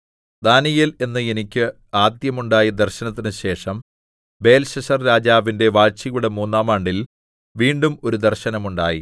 ദാനീയേൽ എന്ന എനിക്ക് ആദ്യം ഉണ്ടായ ദർശനത്തിനു ശേഷം ബേൽശസ്സർരാജാവിന്റെ വാഴ്ചയുടെ മൂന്നാം ആണ്ടിൽ വീണ്ടും ഒരു ദർശനം ഉണ്ടായി